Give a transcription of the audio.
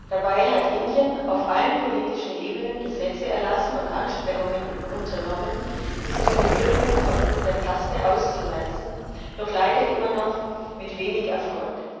Dabei hat Indien auf allen politischen Ebenen Gesetze erlassen und Anstrengungen unternommen, Diskriminierungen aufgrund der Kaste auszumerzen, doch leider immer noch mit wenig Erfolg.